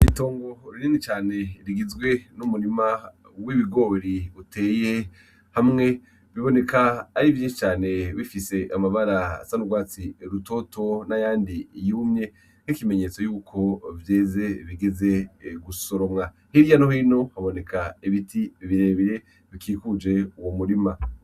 Itongo rinini cane rigizwe n'umurima w'ibigori uteye hamwe, biboneka ari vyinshi cane bifise amabara asa n'urwatsi rutoto n'ayandi yumwe nk'ikimenyetso yuko vyeze bigeze gusoromwa hirya no hino haboneka ibiti birebire bikikuje uwo umurima.